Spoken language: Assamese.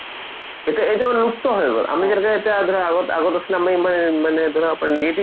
এতিয়া এতিয়াৰ মানুহ মুক্ত হৈ গল আমি যেনেকে এতিয়া ধৰা আগত আগত আছিলে আমি এই মানে ধৰা negative